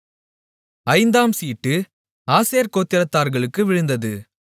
ஐந்தாம் சீட்டு ஆசேர் கோத்திரத்தார்களுக்கு விழுந்தது